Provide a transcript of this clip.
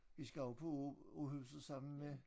Vi skal også på Åhuset sammen med